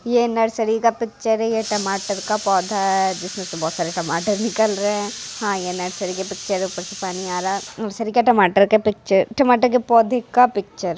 ये नर्सरी का पिक्चर है ये टमाटर का पोधा है जिसमें से बहुत सारे टमाटर भी निकल रहे हैं हाँ ये नर्सरी के पिक्चर ऊपर से पानी आ रहा है नर्सरी के टमाटर का पिक्चर टमाटर के पौधे का पिक्चर --